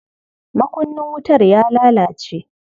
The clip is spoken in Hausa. Makunnin wutar ya lalace.